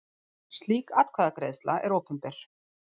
Slík atkvæðagreiðsla er opinber.